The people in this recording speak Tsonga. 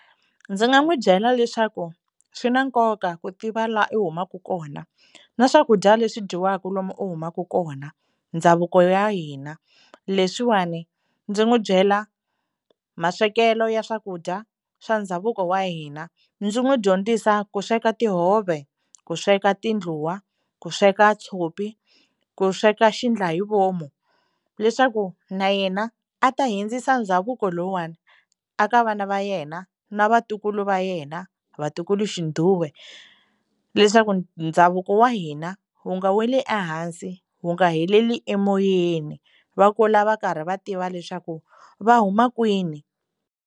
Ndzi nga n'wi byela leswaku swi na nkoka ku tiva laha u humaka kona na swakudya leswi dyiwaka lomu u humaka kona ndhavuko ya hina leswiwani ndzi n'wi byela maswekelo ya swakudya swa ndhavuko wa hina ndzi n'wi dyondzisa ku sweka tihove ku sweka tindluwa ku sweka tshopi ku sweka xiendlahivomu leswaku na yena a ta hindzisa ndhavuko lowani eka vana va yena na vatukulu va yena vatukulu xinguwe leswaku ndhavuko wa hina wu nga weli ehansi wu nga heleli emoyeni va kula va karhi va tiva leswaku va huma kwini.